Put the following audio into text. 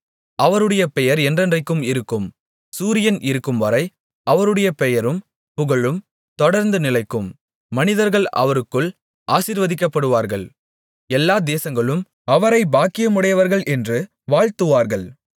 அவருடைய பெயர் என்றென்றைக்கும் இருக்கும் சூரியன் இருக்கும்வரை அவருடைய பெயரும் புகழும் தொடர்ந்து நிலைக்கும் மனிதர்கள் அவருக்குள் ஆசீர்வதிக்கப்படுவார்கள் எல்லா தேசங்களும் அவரைப் பாக்கியமுடையவர்கள் என்று வாழ்த்துவார்கள்